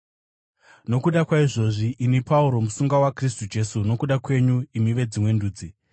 Nokuda kwaizvozvi, ini Pauro, musungwa waKristu Jesu nokuda kwenyu imi veDzimwe Ndudzi: